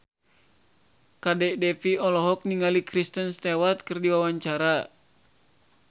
Kadek Devi olohok ningali Kristen Stewart keur diwawancara